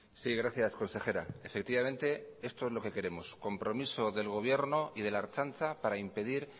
sí gracias consejera efectivamente esto es lo que queremos compromiso del gobierno y de la ertzaintza para impedir